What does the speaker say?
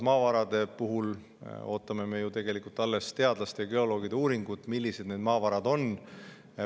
Maavarade puhul ootame me ju tegelikult alles teadlaste ja geoloogide uuringut, millised need maavarad on.